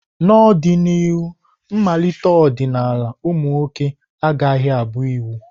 N'ọdịnihu, mmalite ọdịnala ụmụ nwoke agaghị abụ iwu.